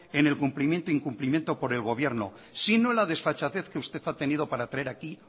en el cumplimiento o incumplimiento del gobierno sino la desfachatez que usted ha tenido para traer aquí